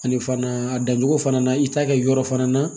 Ani fana a dancogo fana na i t'a kɛ yɔrɔ fana na